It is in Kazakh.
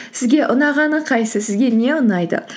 сізге ұнағаны қайсысы сізге не ұнайды